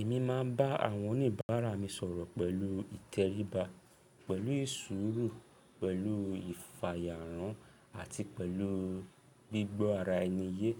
Èmi máa ń bá àwọn oníbàárà mi sọ̀rọ̀ pẹ̀lú ìtẹríba, pẹ̀lú ìṣuru, pẹ̀lú ìfàyàrán àti pẹ̀lú gbígbọ́ ara ẹni yé.